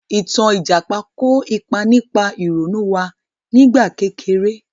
Ìtàn Ìjàpá kò ipa nípa ìrònú wá nígbà kékeré